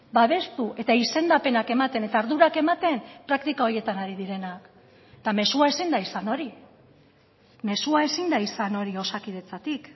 babestu eta izendapenak ematen eta ardurak ematen praktika horietan ari direnak eta mezua ezin da izan hori mezua ezin da izan hori osakidetzatik